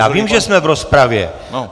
Já vím, že jsme v rozpravě!